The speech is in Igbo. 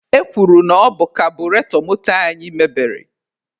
E kwuru na ọ bụ kabụretọ moto anyị meberi.